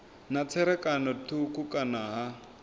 na tserakano thukhu kana ha